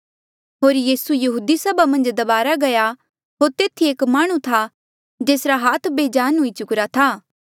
होर यीसू यहूदी सभा मन्झ दबारा गया होर तेथी एक माह्णुं था जेसरा हाथ बेजान हुई चुकिरा था